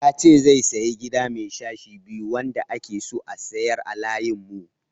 Ya ce zai sayi Gida mai sashe biyu wanda ake so a sayar a layin mu.